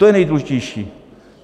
To je nejdůležitější.